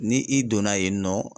Ni i donna yen nɔ